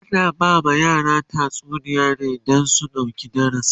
ana ba ma yara tatsuniya ne Dan su ɗauki darasi